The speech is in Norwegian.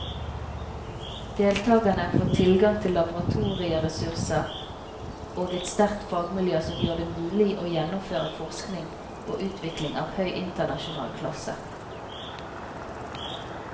Deltakerne får tilgang til laboratorieressurser og et sterkt fagmiljø som gjør det mulig å gjennomføre forskning og utvikling av høy internasjonal klasse.